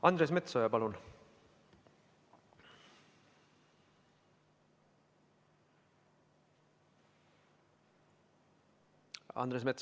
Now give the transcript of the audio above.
Andres Metsoja, palun!